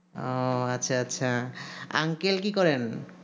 ও আচ্ছা আচ্ছা uncle কি করেন